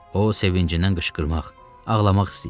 O, sevincindən qışqırmaq, ağlamaq istəyirdi.